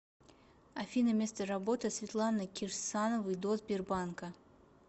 афина место работы светланы кирсановой до сбербанка